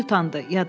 Emil utandı.